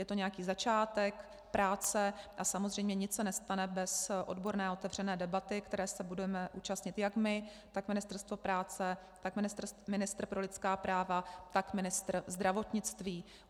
Je to nějaký začátek práce a samozřejmě nic se nestane bez odborné a otevřené debaty, které se budeme účastnit jak my, tak Ministerstvo práce, tak ministr pro lidská práva, tak ministr zdravotnictví.